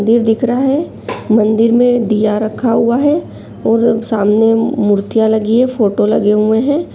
मंदिर दिख रहा है मंदिर में दिया रखा हुआ है और सामने मुर्तिया लगी है फोटो लगे हुए है।